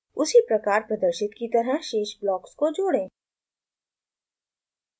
उसी प्रकार प्रदर्शित की तरह शेष ब्लॉक्स को जोड़ें